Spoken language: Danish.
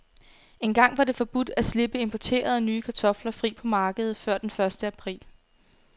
Engang var det forbudt at slippe importerede, nye kartofler fri på markedet før den første april.